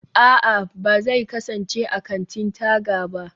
a'a, ba zai kasance a kantin-taga ba